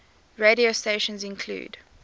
radio stations include